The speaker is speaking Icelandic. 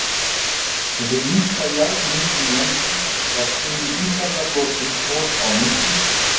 Þessi yngsta jarðmyndun landsins varð til í ísaldarlokin og á nútíma.